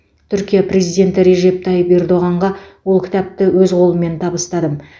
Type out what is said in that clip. түркия президенті режеп тайып ердоғанға ол кітапты өз қолыммен табыстадым